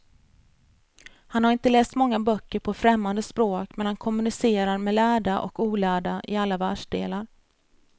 Han har inte läst många böcker på främmande språk, men han kommunicerar med lärda och olärda i alla världsdelar.